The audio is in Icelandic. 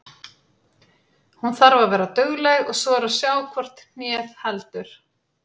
Hún þarf að vera dugleg og svo er að sjá hvort hnéð heldur.